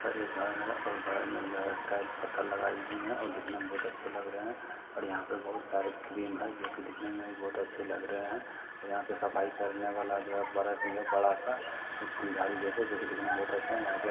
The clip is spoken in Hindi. यहाँ पर एक घर है घर मे टाइल्स और पत्थर लगाई हुई है दिखने मे बहुत अच्छा लग रही है यहाँ पे बहुत सारे क्रीम है जो की दिखने मे बहुत अच्छे लग रहे है यहाँ पर सफाई करने वाला ब्रश है बड़ा-सा फुलजड़ी जैसा जो की दिखने मे बहुत अच्छा है।